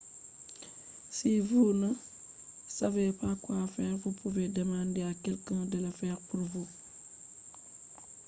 ɓikkon ɗon ɗo nasta damu waji doddon ngam ɓe ɗon nasta ‘’ nder gikku je woɗaka be haɓre’’ ngam be wallina hakkilo maɓɓe tun daga hakkilo maɓɓe walai ha dow lawol koyɗum